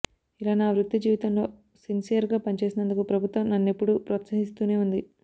ఇలా నా వృత్తి జీవితంలో సిన్సియర్గా పనిచేసినందుకు ప్రభుత్వం నన్నెప్పుడూ ప్రాత్సహిస్తూనే ఉంది